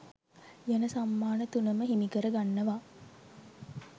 යන සම්මාන තුනම හිමි කරගන්නවා